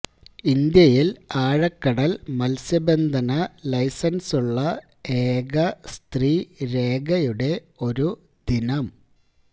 ഇന്ത്യയില് ആഴക്കടല് മത്സ്യബന്ധന ലൈസന്സുള്ള ഏക സ്ത്രീ രേഖയുടെ ഒരു ദിനം